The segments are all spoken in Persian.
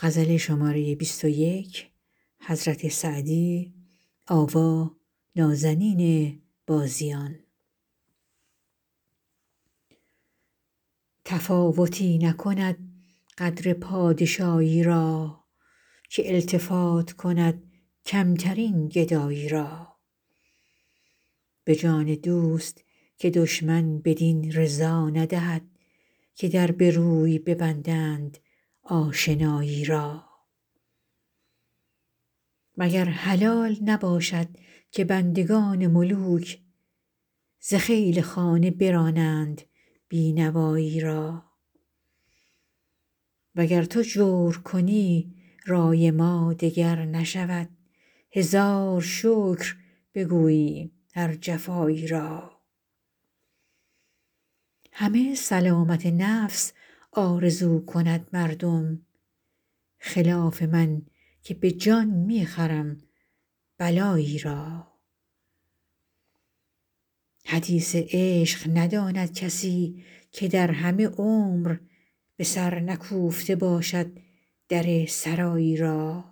تفاوتی نکند قدر پادشایی را که التفات کند کمترین گدایی را به جان دوست که دشمن بدین رضا ندهد که در به روی ببندند آشنایی را مگر حلال نباشد که بندگان ملوک ز خیل خانه برانند بی نوایی را و گر تو جور کنی رای ما دگر نشود هزار شکر بگوییم هر جفایی را همه سلامت نفس آرزو کند مردم خلاف من که به جان می خرم بلایی را حدیث عشق نداند کسی که در همه عمر به سر نکوفته باشد در سرایی را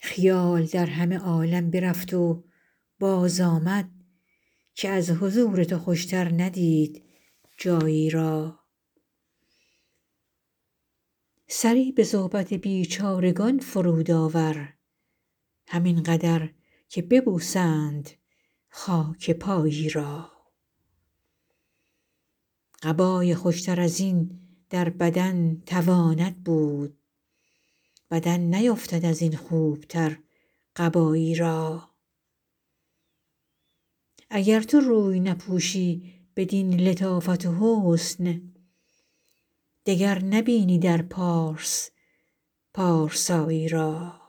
خیال در همه عالم برفت و بازآمد که از حضور تو خوشتر ندید جایی را سری به صحبت بیچارگان فرود آور همین قدر که ببوسند خاک پایی را قبای خوشتر از این در بدن تواند بود بدن نیفتد از این خوبتر قبایی را اگر تو روی نپوشی بدین لطافت و حسن دگر نبینی در پارس پارسایی را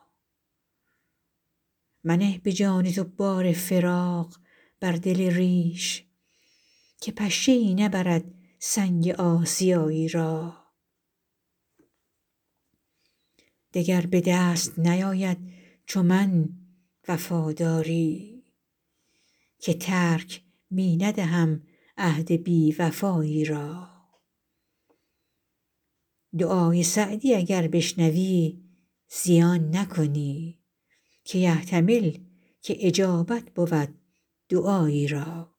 منه به جان تو بار فراق بر دل ریش که پشه ای نبرد سنگ آسیایی را دگر به دست نیاید چو من وفاداری که ترک می ندهم عهد بی وفایی را دعای سعدی اگر بشنوی زیان نکنی که یحتمل که اجابت بود دعایی را